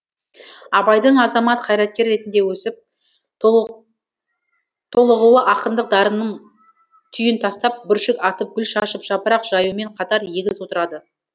абайдың азамат қайраткер ретіндегі өсіп толығуы ақындық дарынының түйін тастап бүршік атып гүл шашып жапырақ жаюымен қатар егіз отырады